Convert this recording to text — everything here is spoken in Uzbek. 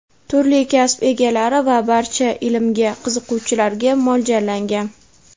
turli kasb egalari va barcha ilmga qiziquvchilarga mo‘ljallangan.